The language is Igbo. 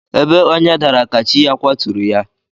Ebe onye dara ka chi ya kwaturu ya.